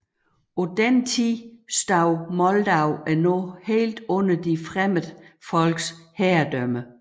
På denne tid stod Moldau endnu helt under de fremmede folks herredømme